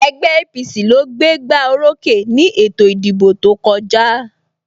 Ẹgbẹ́ APC ló gbé gbá orókè ni ètò ìdìbò tó kọjá